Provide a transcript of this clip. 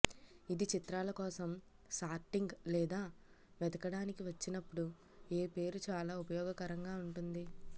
ఇది చిత్రాల కోసం సార్టింగ్ లేదా వెతకడానికి వచ్చినప్పుడు ఏ పేరు చాలా ఉపయోగకరంగా ఉంటుంది